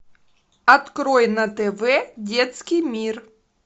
открой на тв детский мир